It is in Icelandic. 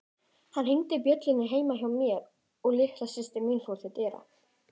Hann hringdi bjöllunni heima hjá mér og litla systir mín fór til dyra.